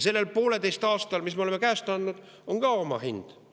Sellel pooleteisel aastal, mis me oleme käest andnud, on ka oma hind.